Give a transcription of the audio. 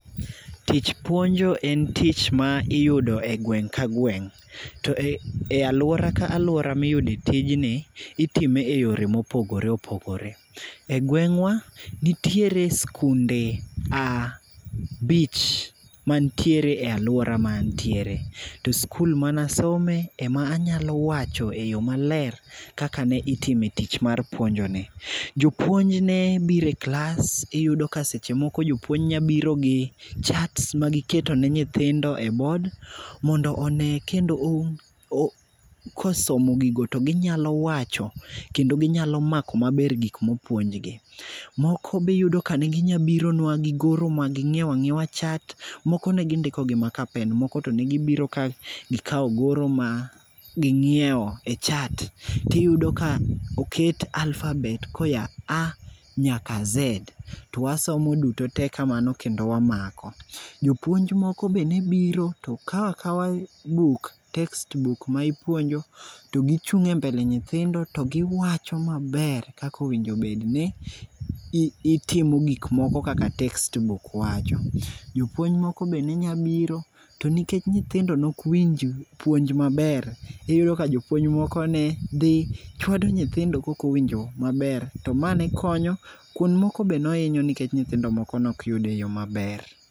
Tich puonjo en tich ma iyudo e gweng' ka gweng'. To e alwora ka alwora miyude tijni, itime e yore mopogore opogore. E gweng'wa, nitiere skunde a bich mantiere e alwora ma antiere. To skul manasome ema anyalo wacho e yo maler kaka ne itime tich mar puonjo ni. Jopuonj ne bire klas, iyudo ka seche moko jopuony nyabiro gi charts ma giketo ne nyithindo e bod. Mondo one kendo kosomo gigo to ginyalo wacho kendo ginyalo mako maber gik mopuonjgi. Moko be iyudo ka ne ginya bironwa gi goro ma ging'iewa ng'iewa chat, moko ne gindiko gi marker pen moko to ne gibiro ka gikawo goro ma ging'iewo e chart. Tiyudo ka oket alphabet koya A nyaka Z, to wasomo duto te kamano kendo wamako. Jopuonj moko be nebiro to kawakawa buk, text book ma ipuonjo to gichung' e mbele nyithindo to giwacho maber kakowinjo bedni itimo gik moko kaka textbook wacho. Jopuonj moko be ne nya biro, to nikech nyithindo nok winj puonj maber, iyudo ka jopuony moko ne dhi chwado nyithindo kokowinjo maber. To ma ne konyo, kuond moko be noinyo nikech nyithindo moko nokyude e yo maber.